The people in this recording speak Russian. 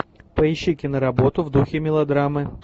поищи киноработу в духе мелодрамы